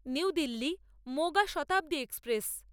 new Delhi Moga Shatabdi express